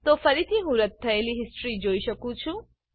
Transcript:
તો ફરીથી હું રદ્દ થયેલ હિસ્ટ્રી જોઈ શકું છું